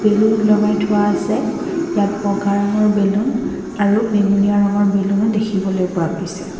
Balloon ওলোমাই থোৱা আছে ইয়াত বগা ৰঙৰ বেলুন আৰু বেঙুনীয়া ৰঙৰ বেলুনো দেখিবলৈ পোৱা গৈছে।